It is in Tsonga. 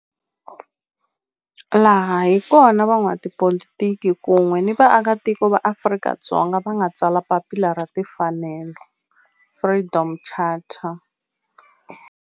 Laha hi kona la van'watipolitiki kun'we ni vaaka tiko va Afrika-Dzonga va nga tsala papila ra timfanelo, Freedom Charter.